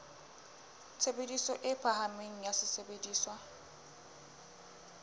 tshebediso e phahameng ya sesebediswa